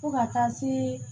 Fo ka taa se